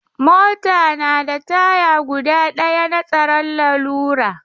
Mota na da taya guda ɗaya na tsaron lalura.